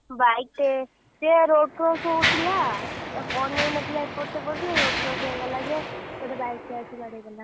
Bike ଟେ, ସିଏ road cross ହଉଥିଲା ଅନେଇ ନଥିଲା ଏପଟ ସେପଟରେ road cross ହେଇଗଲା ଯେ ଗୋଟେ bike ଟେ ଆସି ବାଡ଼େଇଦେଲା।